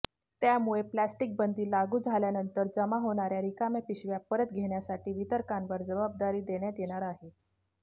त्यामुळे प्लॅस्टिकबंदी लागू झाल्यानंतर जमा होणाऱया रिकाम्या पिशव्या परत घेण्यासाठी वितरकांवर जबाबदारी देण्यात येणार आहे